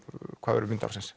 verður mynd ársins